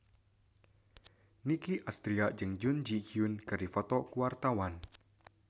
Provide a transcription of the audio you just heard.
Nicky Astria jeung Jun Ji Hyun keur dipoto ku wartawan